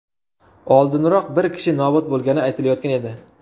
Oldinroq bir kishi nobud bo‘lgani aytilayotgan edi.